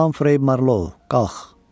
Hamfrey Marlow, qalx!